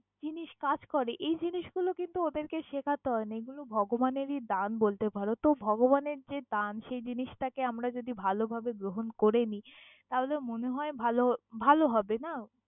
জিনিস কাজ করে, এই জিনিস গুলো কিন্তু ওদের কে শেখাতে হয় না। এগুলো ভগবানেরই দান বলতে পারো তহ ভগবান এর যে দান সেই জিনিস টাকে আমারা যদি ভালো ভাবে গ্রহন করেনি তাহলে মনে হয় ভালো ভালোহবে না।